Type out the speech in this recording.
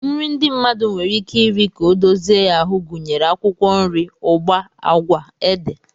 Nri ndị mmadụ nwere ike iri ka ọ dozie ya ahụ gụnyere akwụkwọ nri, ụgba, agwa, ede,